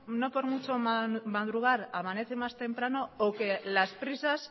no por mucho madrugar amanece más temprano o que las prisas